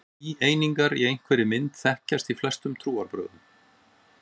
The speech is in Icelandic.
Þríeiningar í einhverri mynd þekkjast í flestum trúarbrögðum.